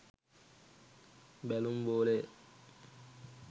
බැලුම් බෝලය